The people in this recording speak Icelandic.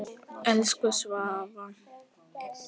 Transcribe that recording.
Elsku Svava.